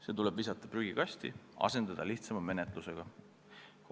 See tuleb visata prügikasti ja asendada lihtsama menetlusega.